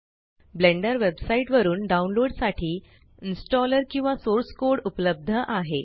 blender website वरुन download साठी installer किंवा सोर्स कोड उपलब्ध आहे